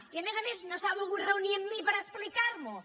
i a més a més no s’ha volgut reunir amb mi per explicar m’ho